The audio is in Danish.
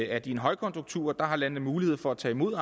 at i en højkonjunktur har landene mulighed for at tage imod